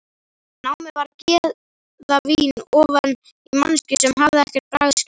Námið var gæðavín ofan í manneskju sem hafði ekkert bragðskyn.